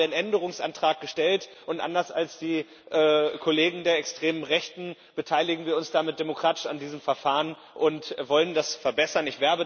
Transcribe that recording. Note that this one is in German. Hier haben wir einen Änderungsantrag gestellt und anders als die Kollegen der extremen Rechten beteiligen wir uns damit demokratisch an diesem Verfahren und wollen das verbessern.